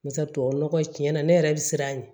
Barisa tubabu nɔgɔ tiɲɛna ne yɛrɛ bɛ siran a ɲɛ